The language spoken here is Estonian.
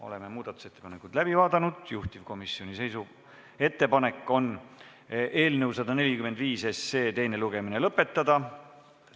Oleme muudatusettepanekud läbi vaadanud, juhtivkomisjoni ettepanek on eelnõu 145 teine lugemine lõpetada.